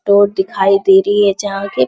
road दिखाई दे रही है जहां पे --